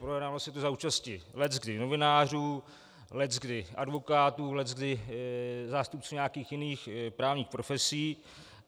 Projednával se tu za účasti leckdy novinářů, leckdy advokátů, leckdy zástupců nějakých jiných právních profesí.